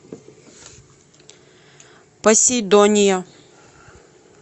посейдония